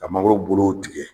A mangoro bolow tigɛ